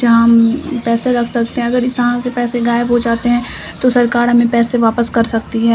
जहां हम पैसे रख सकते है अगर इस जगह से पैसे गायब हो जाते है तो सरकार हमें पैसे वापस कर सकती है।